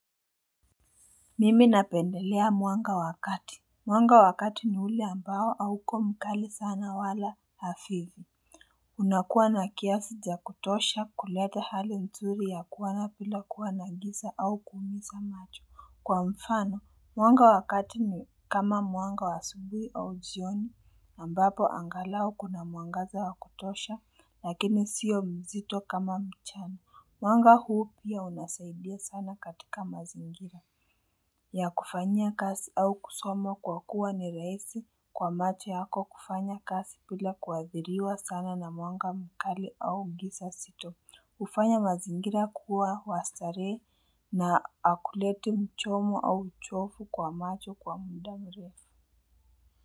Mimi napendelea mwanga wa kati Mwanga wa kati ni ule ambao auko mkali sana wala hafifu unakuwa na kiasi za kutosha kuleta hali nzuri ya kuona bila kuwa na giza au kuumiza macho Kwa mfano mwanga wa kati ni kama mwanga wa asubui au jioni ambapo angalau kuna mwangaza wa kutosha lakini sio mzito kama mchana Mwanga huu pia unasaidia sana katika mazingira ya kufanyia kazi au kusoma kwa kuwa ni rahisi kwa macho yako kufanya kazi bila kuhadhiriwa sana na mwanga mkali au giza sito. Hufanya mazingira kuwa wa starehe na akuleti mchomo au uchofu kwa macho kwa muda mrefu.